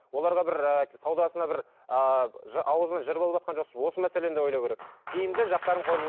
оларға бір ыыы саудасына бір ыыы ауызына жырып алыватқан жоқсыз ба осы мәселені де ойлау керек тиімді жақтарын